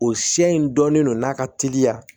O sɛ in dɔɔnin don n'a ka teliya